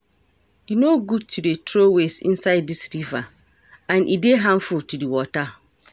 E no good to dey throw waste inside dis river and e dey harmful to the water